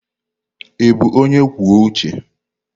Ị bụ onye kwuo uche?